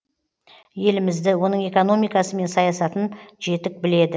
елімізді оның экономикасы мен саясатын жетік біледі